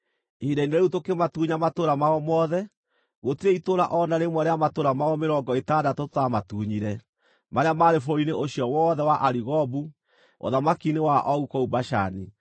Ihinda-inĩ rĩu tũkĩmatunya matũũra mao mothe. Gũtirĩ itũũra o na rĩmwe rĩa matũũra mao mĩrongo ĩtandatũ tũtaamatunyire, marĩa maarĩ bũrũri-inĩ ũcio wothe wa Arigobu, ũthamaki-inĩ wa Ogu kũu Bashani.